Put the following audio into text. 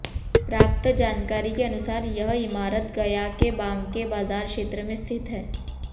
प्राप्त जानकारी के अनुसार यह इमारत गया के बांके बाजार क्षेत्र में स्थित है